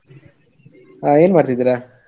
ಹಾ ಏನ್ ಮಾಡ್ತಿದ್ದೀರಾ?